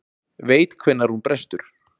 Veit hvenær hún brestur.